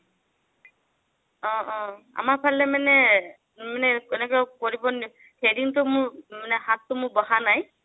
অ অ আমাৰ ফালে মানে, মানে এনেকে কৰিব threading টো মোৰ মানে হাতটো মোৰ বহা নাই।